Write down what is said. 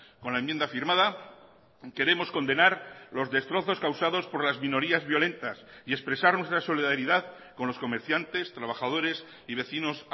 con la enmienda firmada queremos condenar los destrozos causados por las minorías violentas y expresar nuestra solidaridad con los comerciantes trabajadores y vecinos